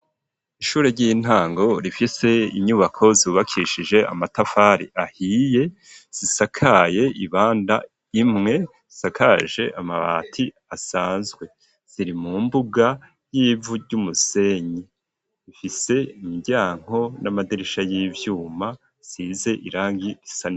Ishure ry'intango rifise inyubako zubakishije amatafari ahiye ,zisakaye ibanda imwe ,zisakaje amabati asanzwe, ziri mu mbuga y'ivu ry'umusenyi, ifise imiryango n'amadirisha y'ivyuma asize irangi risa.